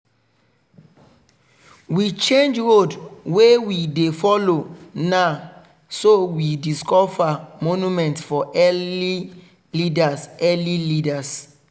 we change road wey we dey follow na so we discover monument for early leaders. early leaders.